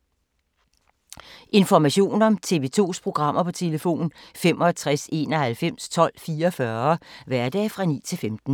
Information om TV 2's programmer: 65 91 12 44, hverdage 9-15.